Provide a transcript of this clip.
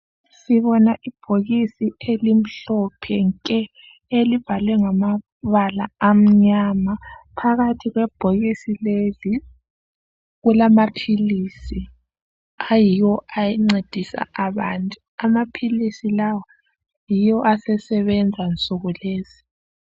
Sibona ibhokisi elimhlophe nke elibhalwe ngamabala amnyama. Phakathi kwebhokisi leli kulamaphilizi ayiwo ancedisa abantu. Amaphilizi lawa yiwo asesebenza kunsuku lezi.